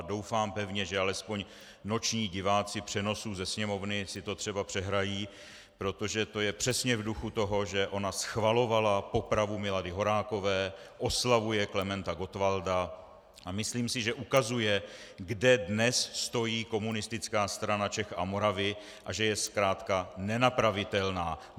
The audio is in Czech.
A doufám pevně, že alespoň noční diváci přenosů ze Sněmovny si to třeba přehrají, protože to je přesně v duchu toho, že ona schvalovala popravu Milady Horákové, oslavuje Klementa Gottwalda, a myslím si, že ukazuje, kde dnes stojí Komunistická strana Čech a Moravy a že je zkrátka nenapravitelná.